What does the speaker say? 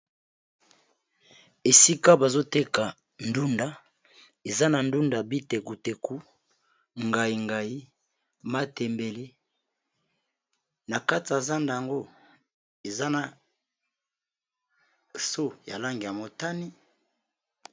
Esika bazoteka ndunda, eza na ndunda bitekutek,u ngaingai, matembele, na kati yaza ndo ango eza na so ya lange ya motani.